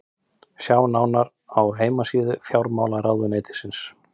sjá nánar á heimasíðu fjármálaráðuneytisins